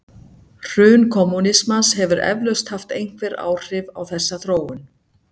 Hrun kommúnismans hefur eflaust haft einhver áhrif á þessa þróun.